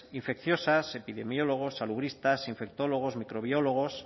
infecciosas epidemiólogos salubristas infectólogos microbiólogos